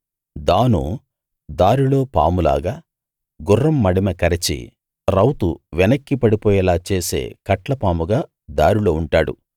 దాను దారిలో పాము లాగా గుర్రం మడిమె కరచి రౌతు వెనక్కి పడిపోయేలా చేసే కట్లపాముగా దారిలో ఉంటాడు